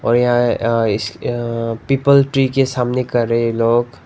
और यहां अं इस पीपल ट्री के सामने कर लोग--